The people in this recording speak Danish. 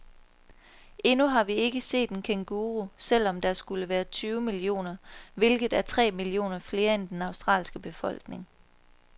Endnu har vi ikke set en kænguru, selv om der skulle være tyve millioner, hvilket er tre millioner flere end den australske befolkning.